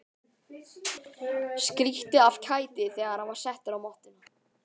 Skríkti af kæti þegar hann var settur á mottuna.